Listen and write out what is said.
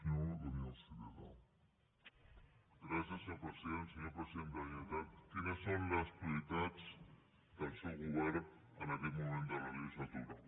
senyor president de la generalitat quines són les prioritats del seu govern en aquest moment de la legislatura